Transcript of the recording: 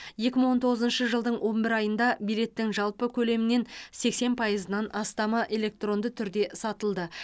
екі мың он тоғызыншы жылдың он бір айында билеттің жалпы көлемнен сексен пайызынан астамы электронды түрде сатылды